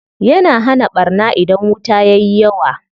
Yana hana ɓarna idan wuta yayi yawa.